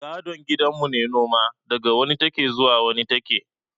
Gadon gidan mu ne noma, daga wani take zuwa wani take